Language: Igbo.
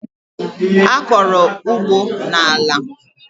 A kọrọ ugbo n'ala.